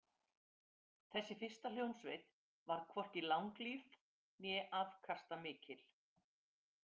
Þessi fyrsta hljómsveit varð hvorki langlíf né afkastamikil.